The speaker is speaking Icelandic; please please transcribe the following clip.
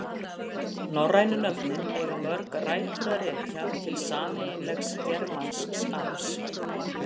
Norrænu nöfnin eiga mörg rætur að rekja til sameiginlegs germansks arfs.